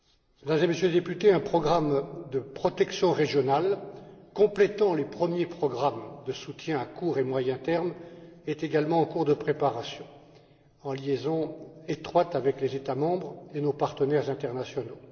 Mesdames et Messieurs les députés, un programme de protection régionale, complétant les premiers programmes de soutien à court et à moyen termes, est également en cours de préparation, en liaison étroite avec les États membres et nos partenaires internationaux.